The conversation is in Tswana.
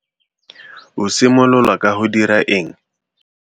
O simolola ka go dira eng?